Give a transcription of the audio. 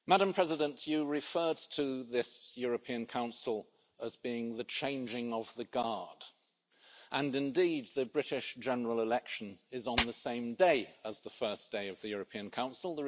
Madam President, you referred to this European Council as being the changing of the guard and indeed the British general election is on the same day as the first day of the European Council.